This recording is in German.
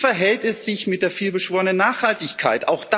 Und wie verhält es sich mit der vielbeschworenen Nachhaltigkeit?